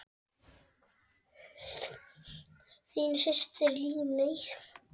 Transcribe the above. Þín systir, Líney.